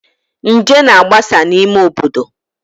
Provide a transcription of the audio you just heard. Nje na-agbasa n'ime obodo